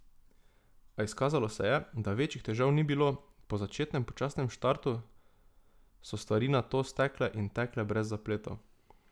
A izkazalo se je, da večjih težav ni bilo, po začetnem počasnem startu so stvari nato stekle in tekle brez zapletov.